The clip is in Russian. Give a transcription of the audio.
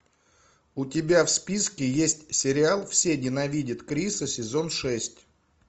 у тебя в списке есть сериал все ненавидят криса сезон шесть